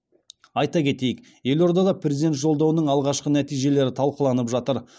айта кетейік елордада президент жолдауының алғашқы нәтижелері талқыланып жатыр